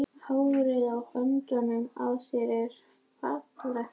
Hárin á höndunum á þér eru falleg.